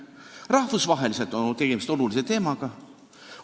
Rahvusvaheliselt on tegemist olulise teemaga.